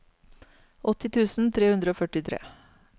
åtti tusen tre hundre og førtitre